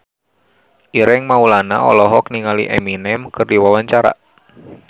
Ireng Maulana olohok ningali Eminem keur diwawancara